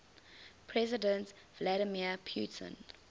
president vladimir putin